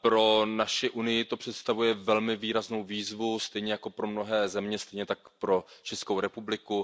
Pro naši Unii to představuje velmi významnou výzvu, stejně jako pro mnohé země, stejně tak pro Českou republiku.